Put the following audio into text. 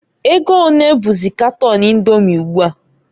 Ego onee bụzị katon Indomi ugbua?